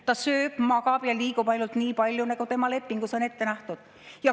Ta sööb, magab ja liigub ainult nii palju, nagu tema lepingus on ette nähtud.